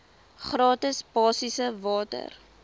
gratis basiese water